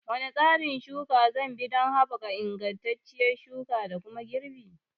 Wane tsarin shuka zanbi don haɓaka ingantacciyar shuka da kuma girbi?